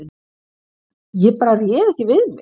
Ég bara réð ekki við mig